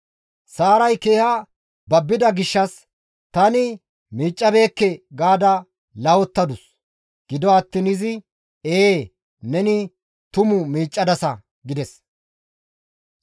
Saaray keeha babbida gishshas, «Tani miiccabeekke» gaada lahottadus. Gido attiin izi, «Ee, neni tuma miiccadasa» gides.